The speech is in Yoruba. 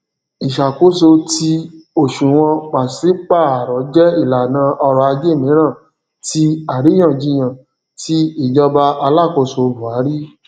ìṣàkóso ti òṣùwòn pàsípààrọ jẹ ìlànà ọrọajé mìíràn ti àríyànjiyàn ti ìjọba alákóso buhari